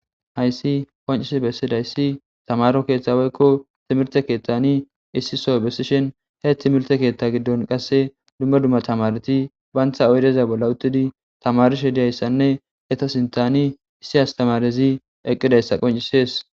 Hayssi qoncis bessidayssi tamaro keeththaweykko timirte keethtani issi so bessishen he timirte keethta giddon qasse dumma dumma tamareti baantha oydeza bolla uttidi tamarishe diyayssanne heta sintani issi astamarezi eqqidayssa qoncisees.